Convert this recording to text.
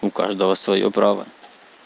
у каждого своё право